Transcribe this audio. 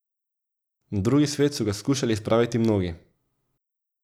Na drugi svet so ga skušali spraviti mnogi.